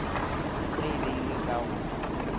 ge e beilwe ka go